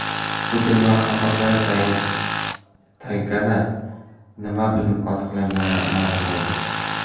Putin va hamrohlari taygada nima bilan oziqlangani ma’lum bo‘ldi.